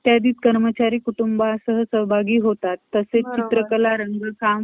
सुशांत सिंह राजपूत चं ते परत अं त्यांनी कोणीतरी अजून काढलंय ना ते.